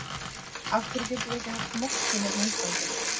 Af hverjum getum við ekki haft mosku hérna á Íslandi?